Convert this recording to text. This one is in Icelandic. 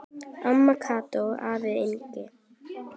Amma Kata og afi Yngvi.